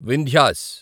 Vindhya's